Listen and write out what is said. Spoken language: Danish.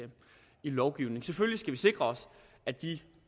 lovgivningen selvfølgelig skal vi sikre os